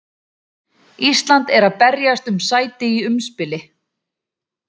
Ísland er að berjast um sæti í umspili.